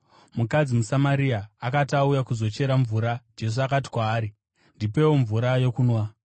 Mukadzi muSamaria akati auya kuzochera mvura, Jesu akati kwaari, “Ndipewo mvura yokunwa?”